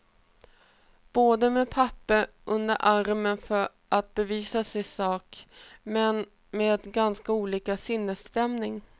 Båda med papper under armen för att bevisa sin sak, men med ganska olik sinnesstämning.